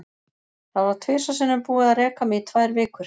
Það var tvisvar sinnum búið að reka mig í tvær vikur.